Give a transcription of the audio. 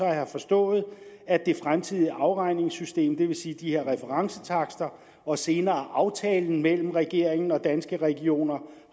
jeg forstået at det fremtidige afregningssystem det vil sige de her referencetakster og senere aftalen mellem regeringen og danske regioner